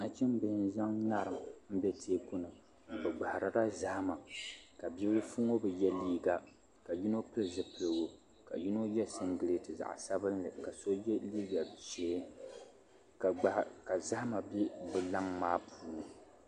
Nachimbila n-zaŋ ŋarim m-be teeku ni bɛ gbahirila zahima ka bi' bilifu ŋɔ bi ye liiga la yino pili zupiligu ka yino ye singileeti zaɣ' sabinli ka so ye liiga ʒee ka zahima be bɛ laŋ maa puuni.